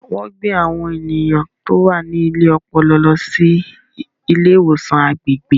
Wọ́n gbé àwọn ènìyàn tó wà ní ilé ọpọlọ lọ sí ilé ìwòsàn agbègbè.